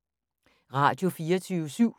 Radio24syv